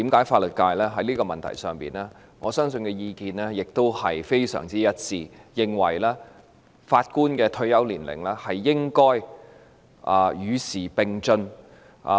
法律界對於這個問題的意見亦非常一致，認為法官的退休年齡應該與時並進。